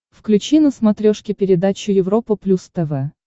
включи на смотрешке передачу европа плюс тв